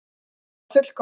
Það var fullkomnað.